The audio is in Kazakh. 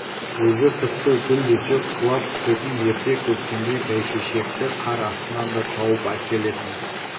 өзі тіпті гүл десе құлап түсетін ерте көктемде бәйшешекті қар астынан да тауып әкелетін